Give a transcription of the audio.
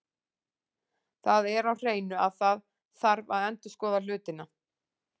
Það er á hreinu að það þarf að endurskoða hlutina.